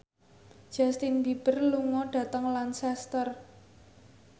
Justin Beiber lunga dhateng Lancaster